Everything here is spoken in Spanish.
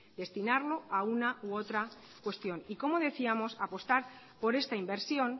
destinarlo a una u otra cuestión y como decíamos apostar por esta inversión